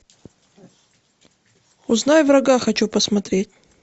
узнай врага хочу посмотреть